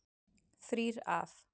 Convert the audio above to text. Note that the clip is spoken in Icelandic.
Þrír af